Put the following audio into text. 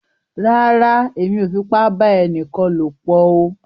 Rárá, Èmí o fipa ba ẹnìkan lopọ o